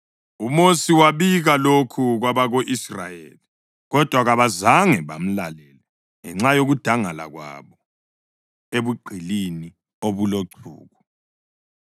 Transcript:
UMosi wabika lokhu kwabako-Israyeli, kodwa kabazange bamlalele ngenxa yokudangala kwabo ebugqilini obulochuku.